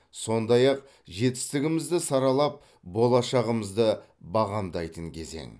сондай ақ жетістігімізді саралап болашағымызды бағамдайтын кезең